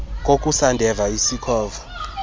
kokusa ndeva isikhova